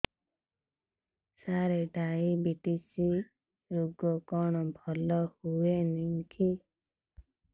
ସାର diabetes ରୋଗ କଣ ଭଲ ହୁଏନି କି